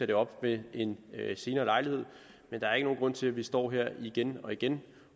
det op ved en senere lejlighed men der er ikke nogen grund til at vi står her igen og igen